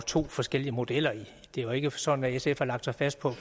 to forskellige modeller i det det er jo ikke sådan at sf har lagt sig fast på